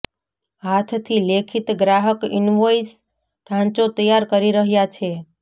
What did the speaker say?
હાથથી લેખિત ગ્રાહક ઇન્વોઇસ ઢાંચો તૈયાર કરી રહ્યા છે